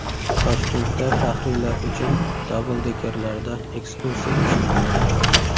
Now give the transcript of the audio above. Toshkentda faxriylar uchun dabldekerlarda ekskursiya uyushtirildi.